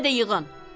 Mənə də yığın.